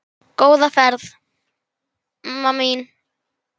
Góða ferð, mamma mín.